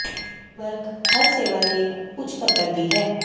ਲਗਭਗ ਹਰ ਸੇਵਾ ਦੇ ਇੱਕ ਉੱਚ ਪੱਧਰ ਦੀ ਹੈ